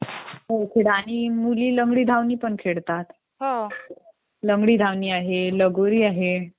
आणि मुली लंगडी धावणी पण खेळतात. लंगडी धावणी आहे, लगोरी आहे